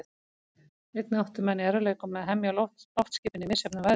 Einnig áttu menn í erfiðleikum með að hemja loftskipin í misjöfnum veðrum.